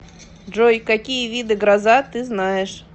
джой какие виды гроза ты знаешь